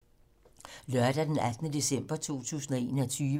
Lørdag d. 18. december 2021